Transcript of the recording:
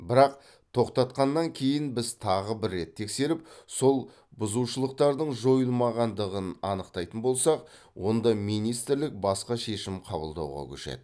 бірақ тоқтатқаннан кейін біз тағы бір рет тексеріп сол бұзушылықтардың жойылмағандығын анықтайтын болсақ онда министрлік басқа шешім қабылдауға көшеді